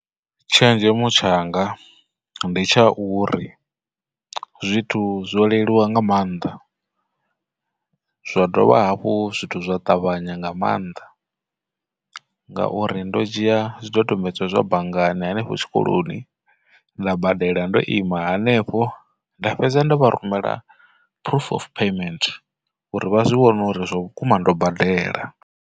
Tshenzhemo tshanga ndi tsha uri zwithu zwo leluwa nga maanḓa, zwa dovha havhu zwithu zwa ṱavhanya nga maanḓa, ngauri ndo dzhia zwidodombedzwa zwa banngani henefho tshikoloni, nda badela ndo ima hanefho, nda fhedza ndo vha rumela proof of payment uri vha zwi vhone uri zwavhukuma ndo badela.